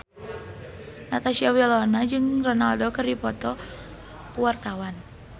Natasha Wilona jeung Ronaldo keur dipoto ku wartawan